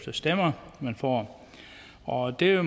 stemmer man får og det